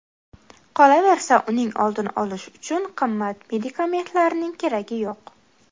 Qolaversa, uning oldini olish uchun qimmat medikamentlarning keragi yo‘q.